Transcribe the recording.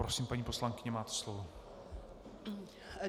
Prosím, paní poslankyně, máte slovo.